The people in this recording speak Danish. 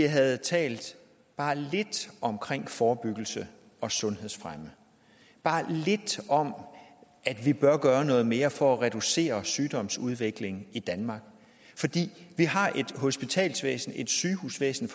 havde talt bare lidt om forebyggelse og sundhedsfremme bare lidt om at vi bør gøre noget mere for at reducere sygdomsudviklingen i danmark vi har et sygehusvæsen